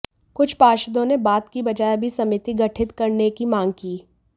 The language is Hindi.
कुछ पार्षदों ने बात की बजाय अभी समिति गठित करने की मांग की